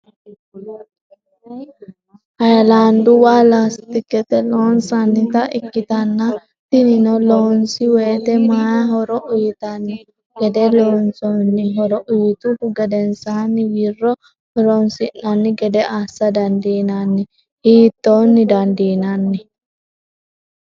hayilanduwa lastikete loonsonnita ikkitanna tinino loonsi wote ma horo uyitanno gede loonsonni? horo uyituhu gedensanni wirro horonsi'nni gede assa dandinaanni? Hittonni dandinann?